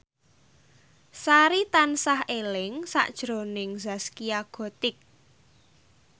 Sari tansah eling sakjroning Zaskia Gotik